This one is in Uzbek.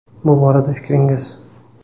Bu borada fikringiz?